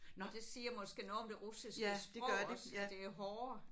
Nåh det siger måske noget om det russiske sprog også. Det er hårdere